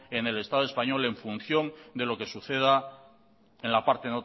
en el estado español en función de lo que suceda en la parte